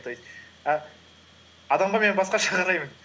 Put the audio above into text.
то есть і адамға мен басқаша қараймын